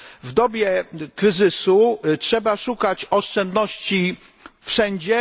W dobie kryzysu trzeba szukać oszczędności wszędzie.